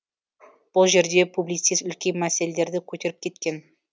бұл жерде публицист үлкен мәселелерді көтеріп кеткен